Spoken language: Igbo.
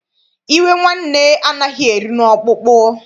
Iwe nwanne anaghị eru n'ọkpụkpụ.